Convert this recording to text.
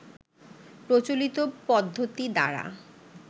প্রচলিত পদ্ধতি দ্বারা